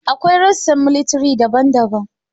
Akwai rassan miliatay daban-daban